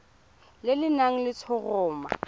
le le nang le letshoroma